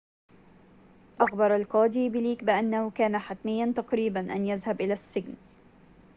أخبر القاضي بليك بأنه كان حتميّاً تقريباً أن يذهب إلى السجن